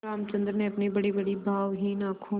रामचंद्र ने अपनी बड़ीबड़ी भावहीन आँखों